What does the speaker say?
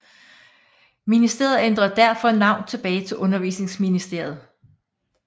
Ministeriet ændrede derfor navn tilbage til Undervisningsministeriet